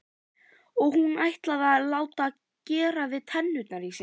Og hún ætlaði að láta gera við tennurnar í sér.